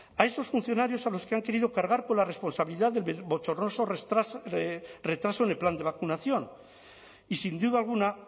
a esos funcionarios a los que han querido cargar con la responsabilidad del bochornoso retraso en el plan de vacunación y sin duda alguna